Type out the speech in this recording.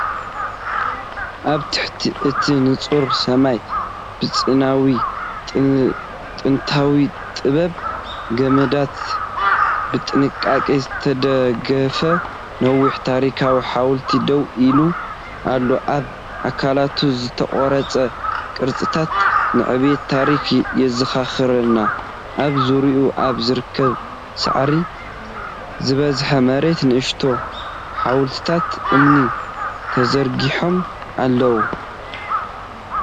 ኣብ ትሕቲ እቲ ንጹር ሰማይ፡ ብሓጺናዊ ቅንጥብጣብን ገመዳትን ብጥንቃቐ ዝተደገፈ ነዊሕ ታሪኻዊ ሓወልቲ ደው ኢሉ ኣሎ። ኣብ ኣካላቱ ዝተቐርጸ ቅርጽታት ንዕቤት ታሪኽ የዘኻኽረና። ኣብ ዙርያኡ ኣብ ዝርከብ ሳዕሪ ዝበዝሖ መሬት ንኣሽቱ ሓወልትታት እምኒ ተዘርጊሖም ኣለዉ።